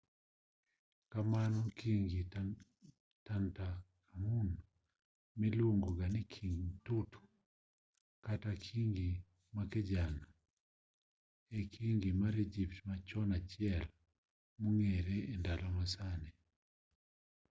kamano kingi tutankhamun miluongoga ni kingi tut kata kingi makijana e kingi mar egypt machon achiel mong'ere endalo masani